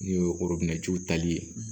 N'o ye tali ye